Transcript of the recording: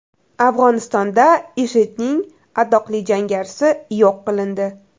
Afg‘onistonda IShIDning atoqli jangarisi yo‘q qilindi.